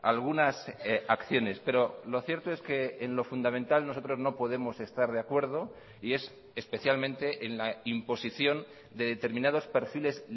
algunas acciones pero lo cierto es que en lo fundamental nosotros no podemos estar de acuerdo y es especialmente en la imposición de determinados perfiles